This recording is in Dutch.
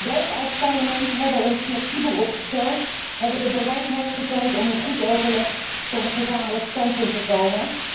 Wij als Parlement hebben ons flexibel opgesteld en hebben de bereidheid getoond om in goed overleg tot een gezamenlijk standpunt te komen.